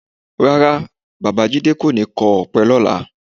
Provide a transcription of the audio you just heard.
Rárá, Bàbá jídé kò ní kọ ọ̀pẹ lọ́la